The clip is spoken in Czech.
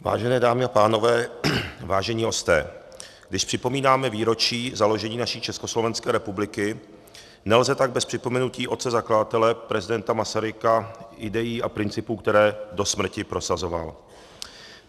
Vážené dámy a pánové, vážení hosté, když připomínáme výročí založení naší Československé republiky, nelze tak bez připomenutí otce zakladatele prezidenta Masaryka, idejí a principů, které do smrti prosazoval.